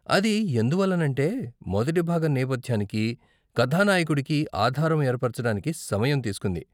అది ఎందువల్లనంటే మొదటి భాగం నేపధ్యానికి, కథానాయకుడికి ఆధారం ఏర్పరచటానికి సమయం తీస్కుంది.